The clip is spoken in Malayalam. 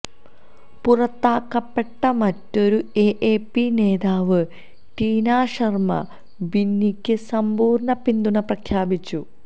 പുറത്താക്കപ്പെട്ട മറ്റൊരു എഎപി നേതാവ് ടിനാ ശര്മ്മ ബിന്നിക്ക് സമ്പൂര്ണ്ണ പിന്തുണ പ്രഖ്യാപിച്ചു